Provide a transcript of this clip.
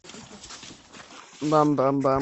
бам бам бам